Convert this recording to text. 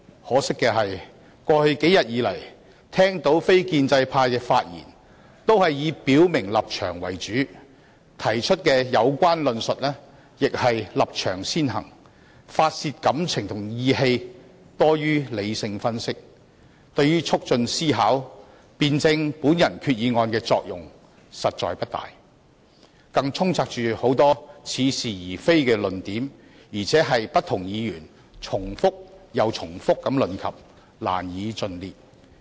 可惜，過去數天，我聽到非建制派的發言均以表明立場為主，提出的有關論述亦是立場先行，發泄感情和意氣多於理性分析，對於促進思考及辯證我的擬議決議案作用實在不大，更充斥着許多似是而非的論點，不斷被不同議員重複提述，難以盡列。